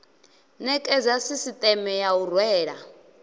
nekedza sisieme ya u rwela